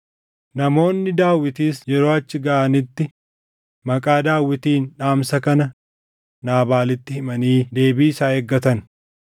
Namoonni Daawitis yeroo achi gaʼanitti maqaa Daawitiin dhaamsa kana Naabaalitti himanii deebii isaa eeggatan.